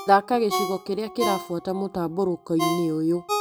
Thaka gĩcigo kĩrĩa kĩrabuata mũtambũrũko-inĩ ũyũ.